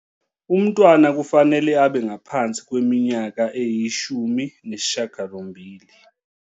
Umntwana kufanele abe ngaphansi kweminyaka eyi-18.